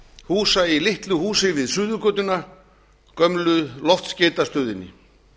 húsa í litlu húsi við suðurgötuna gömlu loftskeytastöðinni